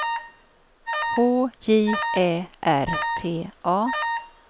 H J Ä R T A